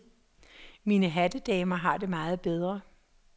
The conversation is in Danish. Mine hattedamer har det meget bedre.